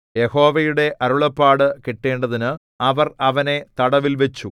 യഹോവയുടെ അരുളപ്പാട് കിട്ടേണ്ടതിന് അവർ അവനെ തടവിൽവച്ചു